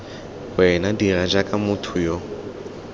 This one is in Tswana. wena dira jaaka motho yo